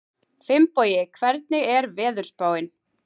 Finnbogi, hvernig er veðurspáin?